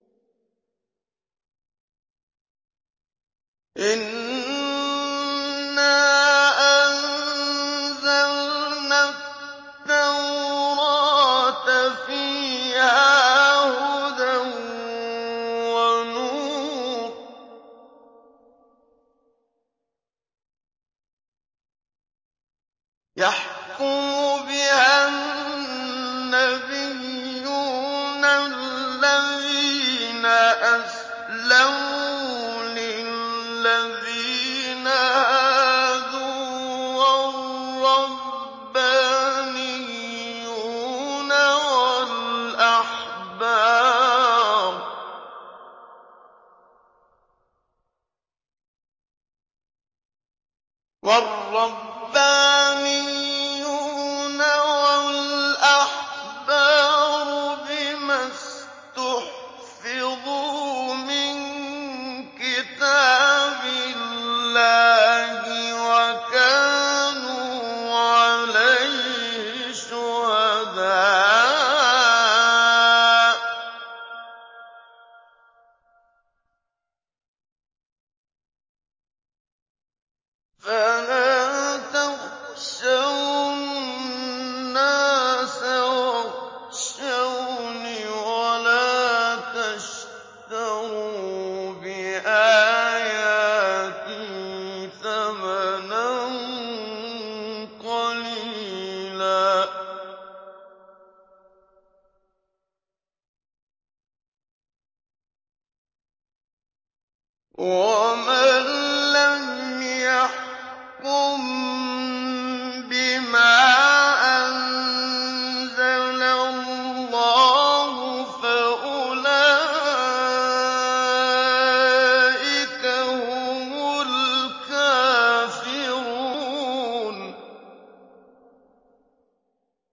إِنَّا أَنزَلْنَا التَّوْرَاةَ فِيهَا هُدًى وَنُورٌ ۚ يَحْكُمُ بِهَا النَّبِيُّونَ الَّذِينَ أَسْلَمُوا لِلَّذِينَ هَادُوا وَالرَّبَّانِيُّونَ وَالْأَحْبَارُ بِمَا اسْتُحْفِظُوا مِن كِتَابِ اللَّهِ وَكَانُوا عَلَيْهِ شُهَدَاءَ ۚ فَلَا تَخْشَوُا النَّاسَ وَاخْشَوْنِ وَلَا تَشْتَرُوا بِآيَاتِي ثَمَنًا قَلِيلًا ۚ وَمَن لَّمْ يَحْكُم بِمَا أَنزَلَ اللَّهُ فَأُولَٰئِكَ هُمُ الْكَافِرُونَ